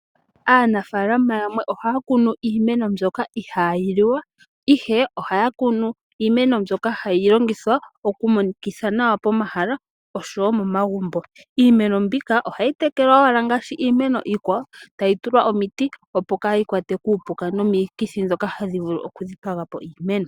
Aanafalama yamwe ohaya kunu iimeno yimwe mbyoka ihayi liwa ihe ohaya kunu iimeno mbyoka hayi longithwa okumonikitha nawa pomahala osho woo pomagumbo. Iimeno mbika ohayi tekelwa owala ngaashi iimeno iikwawo tayi tulwa omiti opo kayi kwatwe kuupuka nokomikithi dhoka hadhi vulu okudhipagapo iimeno.